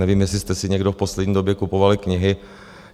Nevím, jestli jste si někdo v poslední době kupovali knihy.